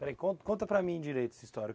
Peraí, con, conta para mim direito essa história.